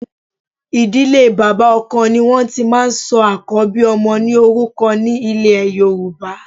Ìdílé bàbá ọkọ ni wọn ti máa ń sọ àkọ́bí ọmọ ní orúkọ ní ilè Yorùbá.